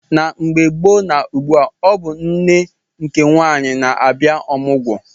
Na mgbe gboo na ugbua ọ bụ nne nke nwaanyị na abịa omugwo